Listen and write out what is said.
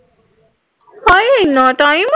ਹਾਏ ਐਨਾ ਟਾਈਮ